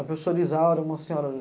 A professora Isaura era uma senhora